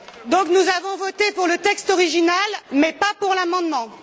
Donc, nous avons voté pour le texte original, mais pas pour l'amendement.